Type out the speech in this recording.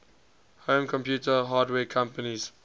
home computer hardware companies